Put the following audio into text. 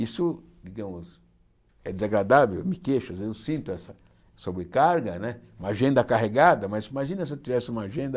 Isso, digamos, é desagradável, me queixo às vezes, eu sinto essa sobrecarga né, uma agenda carregada, mas imagina se eu tivesse uma agenda...